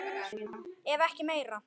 Ef ekki meira.